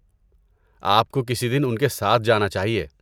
آپ کو کسی دن ان کے ساتھ جانا چاہیے۔